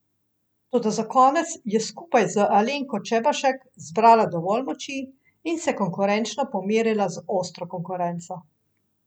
Toda za konec je skupaj z Alenko Čebašek zbrala dovolj moči in se konkurenčno pomerila z ostro konkurenco.